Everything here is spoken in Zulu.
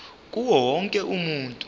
kuwo wonke umuntu